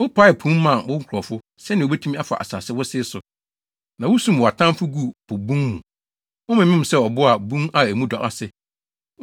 Wopaee po mu maa wo nkurɔfo, sɛnea wobetumi afa asase wosee so. Na wusum wɔn atamfo guu po bun mu. Wɔmemem sɛ abo wɔ bun a emu dɔ no ase.